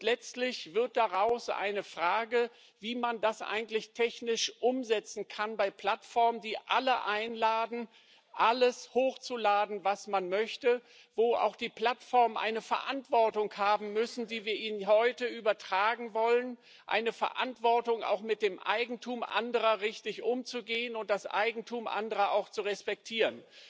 Letztlich wird daraus eine Frage, wie man das eigentlich technisch umsetzen kann bei Plattformen, die alle einladen, alles hochzuladen, was man möchte, wo auch die Plattformen eine Verantwortung haben müssen, die wir ihnen heute übertragen wollen eine Verantwortung, auch mit dem Eigentum anderer richtig umzugehen und das Eigentum anderer auch zu respektieren.